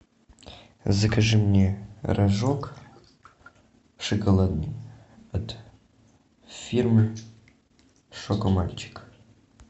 закажи мне рожок шоколадный от фирмы шокомальчик